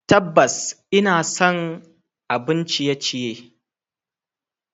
Tabbas, ina son abun ciye-ciye.